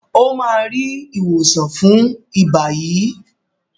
o má rí ìwòsàn fún iba yí.